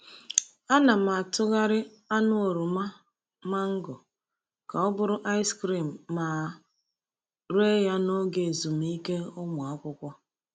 Ana m atụgharị anụ oroma mango ka ọ bụrụ ice cream ma ree ya n’oge ezumike ụmụ akwụkwọ.